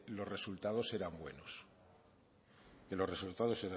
los resultados eran buenos que los resultados